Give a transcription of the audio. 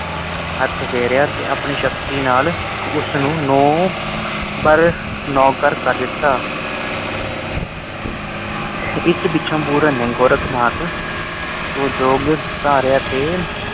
ਹੱਥ ਫੇਰਿਆ ਤੇ ਆਪਣੀ ਸ਼ਕਤੀ ਨਾਲ ਉਸ ਨੂੰ ਨੌ ਬਰ, ਨੌਕਰ ਕਰ ਦਿੱਤਾ। ਇਸ ਪੀਛੋ ਪੂਰਨ ਨੇ ਗੋਰਖਨਾਥ ਤੋਂ ਜੋਗ ਧਾਰਿਆ ਤੇ